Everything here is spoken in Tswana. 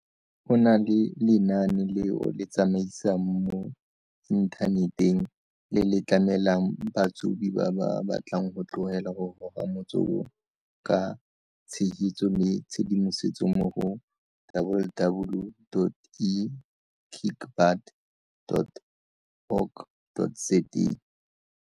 o na le lenaane le o le tsamaisang mo inthaneteng, le le tlamelang batsobi ba ba batlang go tlogela go goga motsoko ka tshegetso le tshedimosetso mo go, www.ekickbutt.org.za.